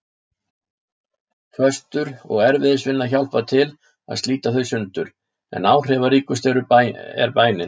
Föstur og erfiðisvinna hjálpa til að slíta þau sundur, en áhrifaríkust er bænin.